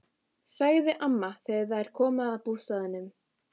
sagði amman þegar þeir komu að bústaðnum.